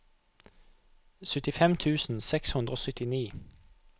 syttifem tusen seks hundre og syttini